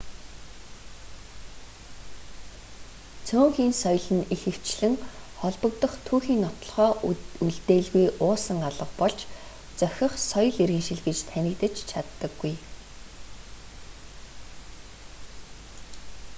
цөөнхийн соёл нь ихэвчлэн холбогдох түүхийн нотолгоо үлдээлгүй уусан алга болж зохих соёл иргэншил гэж танигдаж чаддаггүй